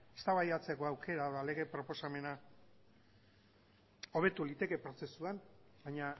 eztabaidatzeko aukera eta lege proposamena hobetu liteke prozesuan baina